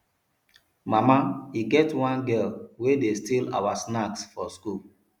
mama e get one girl wey dey steal our snacks for school